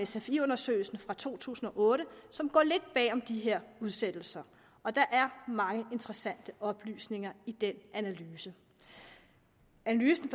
sfi undersøgelsen fra to tusind og otte som går lidt bagom de her udsættelser og der er mange interessante oplysninger i den analyse analysen